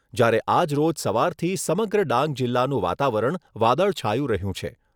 જ્યારે આજ રોજ સવારથી સમગ્ર ડાંગ જિલ્લાનું વાતાવરણ વાદળછાયું રહ્યું છે.